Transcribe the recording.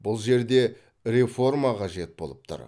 бұл жерде реформа қажет болып тұр